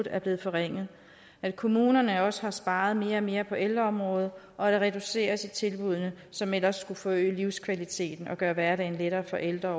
er blevet forringet at kommunerne også har sparet mere og mere på ældreområdet og at der reduceres i tilbuddene som ellers skulle forøge livskvaliteten og gøre hverdagen lettere for ældre at